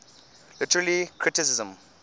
literary criticism